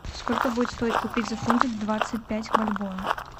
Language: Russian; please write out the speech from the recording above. сколько будет стоить купить за фунты двадцать пять бальбоа